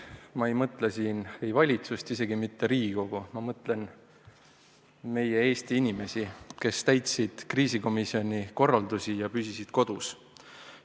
Ma ei mõtle siin valitsust, isegi mitte Riigikogu, ma mõtlen meie Eesti inimesi, kes täitsid kriisikomisjoni korraldusi ja püsisid kodus.